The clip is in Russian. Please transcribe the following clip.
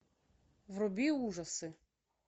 вруби ужасы